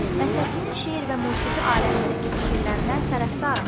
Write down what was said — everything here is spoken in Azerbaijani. Məhsətinin şeir və musiqi aləmindəki fikirlərinə tərəfdaram.